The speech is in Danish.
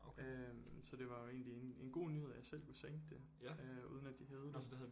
Øh så det var jo egentlig en en god nyhed at jeg selv kunne sænke det øh uden at hævede det